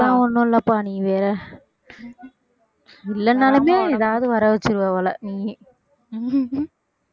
அதெல்லாம் ஒண்ணும் இல்லப்பா நீ வேற இல்லைனாலுமே எதாவது வர வச்சிருவ போல நீயே